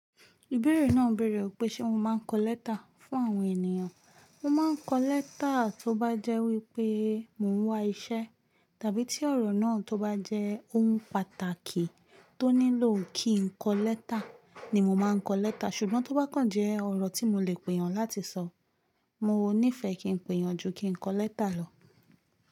Ìbéèrè náà béèrè wípé Ṣé mo ma ń kọ lẹ́tà fún àwọn ènìyàn. Mo ma ń kọ lẹ́tà tó bá jẹ́ wípé mò ń wá iṣẹ́ tàbí tí ọ̀rọ̀ náà tó bá jẹ́ ohun pàtàkì tó nílò kí n kọ lẹ́tà ni mo ma ń kọ lẹ́tà ṣùgbọ́n tó bá kàn jẹ́ ọ̀rọ̀ tí mo le pèyàn láti sọ, mo níìfẹ̀ kí n pèyàn ju kí n kọ lẹ́tà lọ.